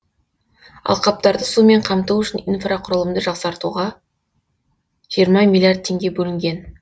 алқаптарды сумен қамту үшін инфрақұрылымды жасақтауға жиырма миллиард теңге бөлінген